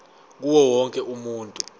kuwo wonke umuntu